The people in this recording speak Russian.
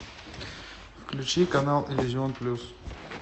включи канал иллюзион плюс